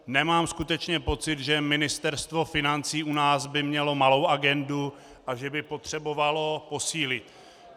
Nemám skutečně pocit, že Ministerstvo financí u nás by mělo malou agendu a že by potřebovalo posílit.